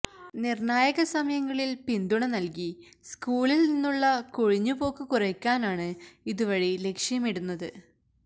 നിര്ണ്ണായക സമയങ്ങളില് പിന്തുണ നല്കി സ്കൂളില് നിന്നുള്ള കൊഴിഞ്ഞുപോക്ക് കുറയ്ക്കാനാണ് ഇതുവഴി ലക്ഷ്യമിടുന്നത്